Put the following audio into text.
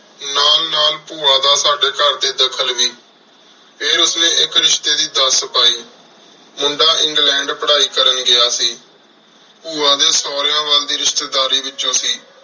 ਨਾਲ ਨਾਲ ਪੁਵਾ ਦਾ ਸਾਡੀ ਘਰ ਏਚ ਦਾਖਲ ਵੀ ਫੇਰ ਉਸ੍ਨੀ ਇਕ ਰਿਸ਼੍ਟੀ ਦੀ ਦਸ ਪੈ ਮੁੰਡਾ ਇੰਗ੍ਲੈੰਡ ਪਢ਼ਾਈ ਕਰਨ ਗਯਾ ਸੀ ਪੁਵਾ ਡੀ ਸੋਰਯ ਵਾਲ ਦੀ ਰਿਸ਼੍ਟੀ ਦਰਿ ਵਿਚੋਂ ਸੀ